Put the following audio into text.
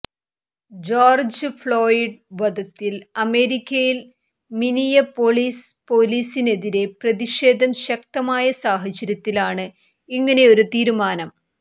George Floyd വധത്തിൽ അമേരിക്കയിൽ Minneapolis പോലീസിനെതിരെ പ്രതിഷേധം ശക്തമായ സാഹചര്യത്തിലാണ് ഇങ്ങനൊരു തീരുമാനം